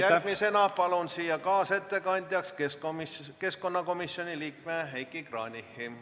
Järgmisena palun siia kaasettekandjaks keskkonnakomisjoni liikme Heiki Kranichi!